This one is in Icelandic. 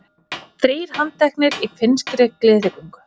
Þrír handteknir í finnskri gleðigöngu